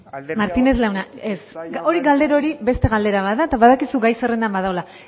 martinez jauna ez hori galdera hori beste galdera bat da eta badakizu gai zerrendan badagoela